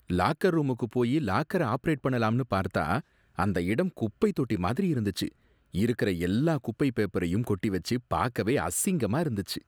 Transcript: Locker ரூமுக்கு போயி லாக்கர ஆபரேட் பண்ணலாம்னு பார்த்தா அந்த இடம் குப்பைத்தொட்டி மாதிரி இருந்துச்சு. இருக்கிற எல்லா குப்பை பேப்பரையும் கொட்டிவச்சு பாக்கவே அசிங்கமா இருந்துச்சு.